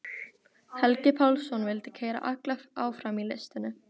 Helgi Pálsson vildi keyra alla áfram í listinni.